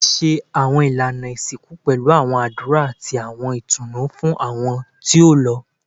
Ti ṣe awọn ilana isinku pẹlu awọn adura ati awọn itunu fun awọn ti o lọ